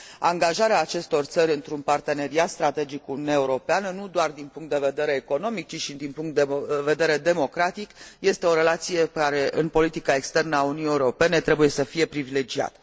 Angajarea acestor țări într un parteneriat strategic cu Uniunea Europeană, nu doar din punct de vedere economic ci și din punct de vedere democratic, este o relație care, în politica externă a Uniunii Europene, trebuie să fie privilegiată.